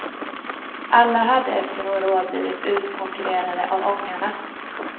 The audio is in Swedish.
Alla hade efter några år blivit utkonkurrerade av ångarna.